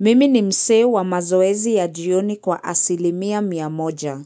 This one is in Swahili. Mimi ni msee wa mazoezi ya jioni kwa asilimia mia moja.